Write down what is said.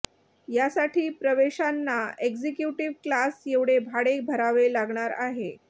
या साठी प्रवाशांना एक्झिक्युटिव्ह क्लास एवढे भाडे भरावे लागणार आहे